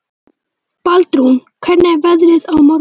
Baldrún, hvernig er veðrið á morgun?